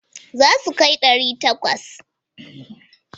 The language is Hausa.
Za su kai ɗari takwas?